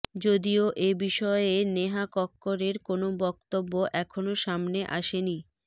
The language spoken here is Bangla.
যদিও এ বিষয়ে নেহা কক্করের কোনও বক্তব্য এখনও সামনে আসেনি